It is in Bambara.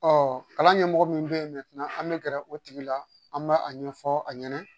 kalan ɲɛmɔgɔ min bɛ ye an bɛ gɛrɛ o tigi la an b'a a ɲɛfɔ a ɲɛna